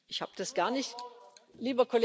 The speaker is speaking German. Lieber Kollege, danke für die Frage.